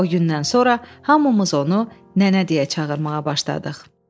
O gündən sonra hamımız onu Nənə deyə çağırmağa başladıq.